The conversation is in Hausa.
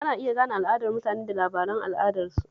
Ana iya gane al'adar mutane da labaran al'adarsu